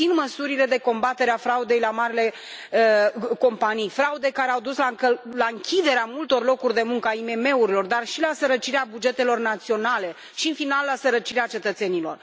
Susțin măsurile de combatere a fraudei la marile companii, fraude care au dus la închiderea multor locuri de muncă, a IMM urilor, dar și la sărăcirea bugetelor naționale și, în final, la sărăcirea cetățenilor.